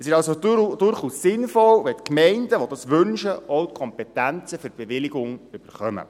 Es ist somit durchaus sinnvoll, wenn die Gemeinden, die dies wünschen, auch die Kompetenzen für die gastronomischen Bewilligungen erhalten.